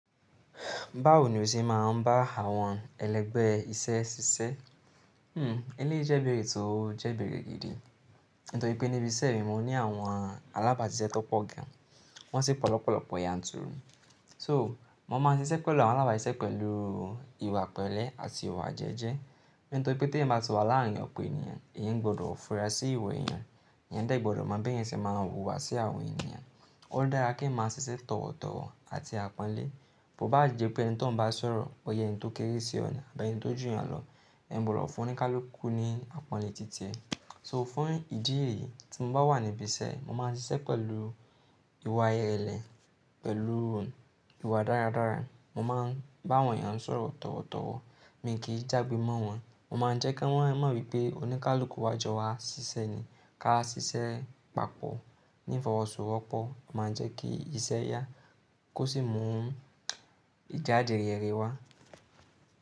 Báwo ni o ṣe máa ń bá àwọn ẹlẹgbẹ́ iṣẹ́ ṣiṣẹ́? Eléyi jẹ́ ibèerè tó jẹ́ ibèrè gidi. Nítorí pé níbi iṣẹ́ mi, mo ní àwọn alábàáṣiṣẹ́ tó pọ̀ gan an. Wọ́n sì pọ lọ́pọ̀lọ́pọ̀ ya ń turu. So, mo máa ń ṣiṣẹ́ pẹ̀lú àwọn alábàáṣiṣẹ́ pẹ̀lú ìwà pẹ̀lẹ́ àti ìwà jẹ́jẹ́. Nítorí pé tí ẹeyan bá ti wà láàárín ọ̀pọ̀ ènìyàn, èeyań gbọdọ̀ funra sí ìwá ènìyàn. Èeyan dẹ̀ gbọdọ̀ mọ bí èeyan ṣe máa wùwà sí àwọn ènìyàn. Ó dára kí èeyan máa ṣiṣẹ́ tọ̀wọ̀tọ̀wọ̀ àti àpọ́nlé. Kò bá jẹ́ pé ẹni tó ń bá sọ̀rọ̀, bóyá ẹni tó kéré sí ọ̀ ni, boya ẹni tó jù yàn lọ, èeyan gbọdọ̀ fún oníkálukú ní àpọ́nlé ti tirẹ So, fún ìdí èyí tí mo bá wà níbi iṣẹ́, mo máa ń ṣiṣẹ́ pẹ̀lú ìwà irẹ́lẹ̀, pẹ̀lú ìwà dáradára. Mo máa ń bá àwọn ènìyàn sọ̀rọ̀ tọ̀wọ̀tọ̀wọ̀. Mi kì í jágbe mọ́ wọn. Mo máa ń jẹ́ kí wọ́n mọ̀ wípé oníkálukú wa jọ wa ṣiṣẹ́ ni. Ka ṣiṣẹ́ papọ̀ ní ifọwọ́sòwọ́pọ̀, máa ń jẹ́ kí iṣẹ́ yá, kó sì mú ìjádi rere wá.